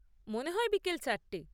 মনে হয় বিকেল চারটে।